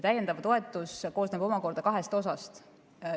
Täiendav toetus koosneb omakorda kahest osast.